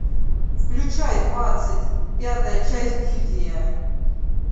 включай двадцать пятая часть гильдия